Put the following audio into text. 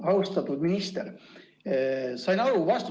Austatud minister!